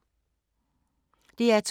DR2